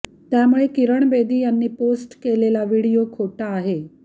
त्यामुळे किरण बेदी यांनी पोस्ट केलेला व्हिडीओ खोटा आहे